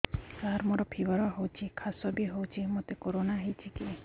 ସାର ମୋର ଫିବର ହଉଚି ଖାସ ବି ହଉଚି ମୋତେ କରୋନା ହେଇଚି କି